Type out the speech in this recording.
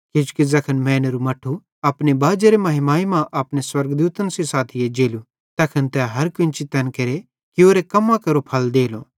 किजोकि ज़ैखन मैनेरू मट्ठू अपने बाजेरी महिमाई मां अपने स्वर्गदूतन सेइं साथी एज्जेलू तैखन तै हर केन्ची तैन केरे कियोरे कम्मां केरो फल देलो